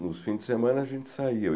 Nos fins de semana a gente saía.